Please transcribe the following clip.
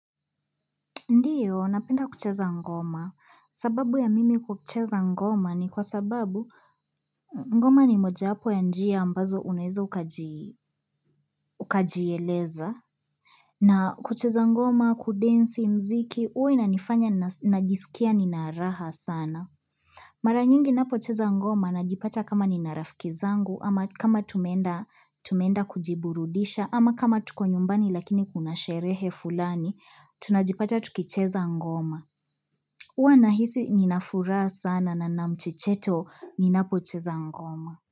Ndiyo, napenda kucheza ngoma. Sababu ya mimi kucheza ngoma ni kwa sababu ngoma ni mojawapo ya njia ambazo unaeze ukajieleza. Na kucheza ngoma, kudensi muziki, huwa inanifanya najisikia nina raha sana. Mara nyingi ninapo cheza ngoma, najipata kama nina rafiki zangu, ama kama tumeenda kujiburudisha, ama kama tuko nyumbani lakini kuna sherehe fulani, tunajipata tukicheza ngoma. Uwa nahisi ninafuraha sana na nina mchecheto ninapo cheza ngoma.